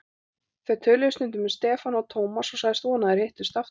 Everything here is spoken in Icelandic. Þau töluðu stundum um Stefán og Thomas sagðist vona að þeir hittust aftur.